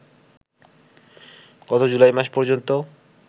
গত জুলাই মাস পর্যন্ত